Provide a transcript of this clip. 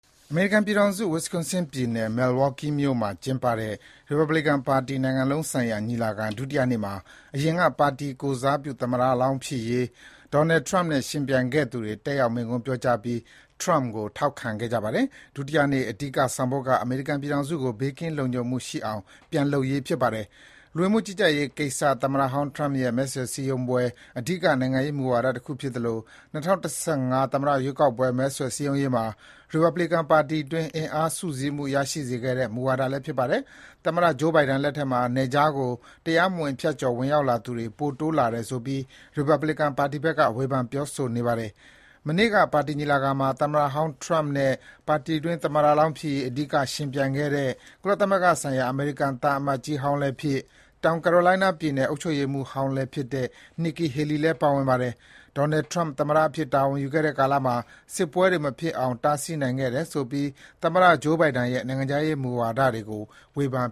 အမေရိကန်ပြည်ထောင်စု၊ Wisconsin ပြည်နယ် Milwaukee မြို့မှာ ကျင်းပတဲ့ ရီပတ်ဘလစ်ကန်ပါတီ နိုင်ငံလုံးဆိုင်ရာ ညီလာခံ ဒုတိယနေ့မှာ အရင်က ပါတီကိုယ်စားပြု သမ္မတလောင်း ဖြစ်ရေး Donald Trump နဲ့ ယှဉ်ပြိုင်ခဲ့သူတွေ တက်ရောက် မိန့်ခွန်းပြောကြားကြပြီး Trump ကို ထောက်ခံခဲ့ကြပါတယ်။ ဒုတိယနေ အဓိက ဆောင်ပုဒ်က အမေရိကန်ပြည်ထောင်စုကို ဘေးကင်းလုံခြုံမှု ရှိအောင် ပြန်လုပ်ရေး ဖြစ်ပါတယ်။ လူဝင်မှုကြီးကြပ်ရေး ကိစ္စက သမ္မတဟောင်း Trump ရဲ့ မဲဆွယ်စည်းရုံးပွဲ အဓိက နိုင်ငံ ရေးမူဝါဒတခု ဖြစ်သလို ၂၀၁၅ သမ္မတရွေးကောက်ပွဲ မဲဆွယ်စည်းရုံးရေးမှာ ရီပတ်ဘလီကန်ပါတီတွင်း အင်အားစုစည်းမှု ရရှိစေခဲ့တဲ့ မူဝဒါလည်း ဖြစ်ပါတယ်။ သမ္မတ Joe Biden လက်ထက်မှာ နယ်ခြားကို တရားမဝင် ဖြတ်ကျော်ဝင်ရောက်လာသူတွေ ပိုတိုးလာတယ်ဆိုပြီး ရီပတ်ဘလစ်ကန်ပါတီဘက်က ဝေဖန်ပြောဆိုနေပါတယ်။ မနေ့က ပါတီညီလာခံမှာ သမ္မတဟောင်း Trump နဲ့ ပါတီတွင်း သမ္မတလောင်းဖြစ်ရေး အဓိက ယှဉ်ပြိုင်ခဲ့တဲ့ ကုလသမဂ္ဂဆိုင်ရာ အမေရိကန် သံအမတ်ကြီးဟောင်းလည်းဖြစ်၊ တောင်ကာရိုလိုင်းနားပြည်နယ် အုပ်ချုပ်ရေးမှူးဟောင်းလည်းဖြစ်တဲ့ Nikki Haley လည်း ပါဝင်ပါတယ်။ Donald Trump သမ္မတအဖြစ် တာဝန်ယူခဲ့တဲ့ ကာလမှာ စစ်ပွဲတွေ မဖြစ်အောင် တားဆီးနိုင်ခဲ့တယ်ဆိုပြီး သမ္မတ Joe Biden ရဲ့ နိုင်ငံခြားရေးမူဝါဒတွေကို ဝေဖန်